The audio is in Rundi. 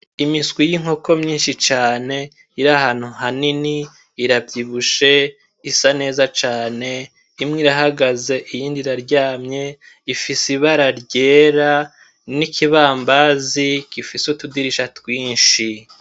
Imiswi y'inkoko myishi cane iri ahantu hanini iravyibushe isa neza cane imwe irahagaze iyindi iraryamye ifise ibara ryera n'ikibambazi gifise utudirisha twishi.